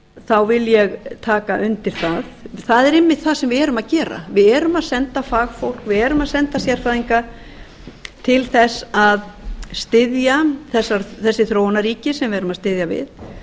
þá vil ég taka undir það það er einmitt það sem við erum að gera við erum að sendafagfólk við erum að senda sérfræðinga til þess að styðja þessi þróunarríki sem við erum að styðja við